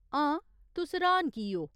हां, तुस र्‌हान की ओ ?